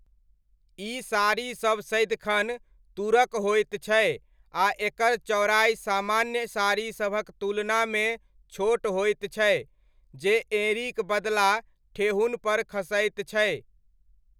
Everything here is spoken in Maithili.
ई साड़ीसब सदिखन तूरक होइत छै आ एकर चौड़ाइ सामान्य साड़ीसभक तुलनामे छोट होइत छै, जे एँड़ीक बदला ठेहुनपर खसैत छै।